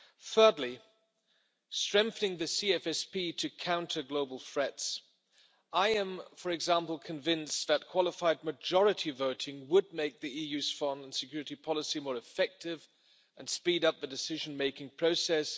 Thirdly, strengthening the CFSP to counter global threats I am, for example, convinced that qualified majority voting would make the EU's foreign and security policy more effective and speed up the decision-making process.